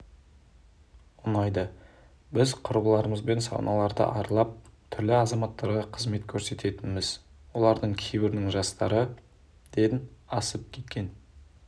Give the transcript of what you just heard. ұнайды біз құрбыларымызбен сауналарды аралап түрлі азаматтарға қызмет көрсететінбіз олардың кейбірінің жастары ден асып кеткен